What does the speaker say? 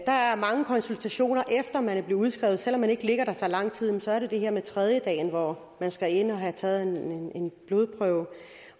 der er mange konsultationer efter man er blevet udskrevet selv om man ikke ligger der så lang tid der er det her med tredjedagen hvor man skal ind og have taget en blodprøve